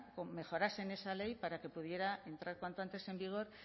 mejoras en esa ley para que pudiera entrar cuanto antes en vigor